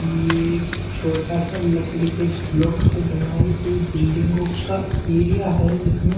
ये छोटा सा लकड़ी के ब्लॉक से बनाई हुई बिल्डिंगों का एरिया हैजिसमें--